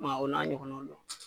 I ma ye a, o n'a ɲɔgɔnnaw don.